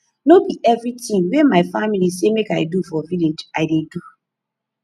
no be everytin wey my family say make i do for village i dey do